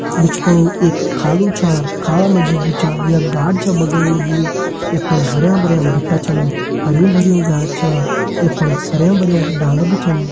बिच फुणु एक खालू छा खाला मा जी जु छा यख गाड छ बगण लगीं यख फणा हरयां भरयां बिट्ठा छन हरयूं भरयूं घास छा यख फण हरयां भरयां डाला भी छन।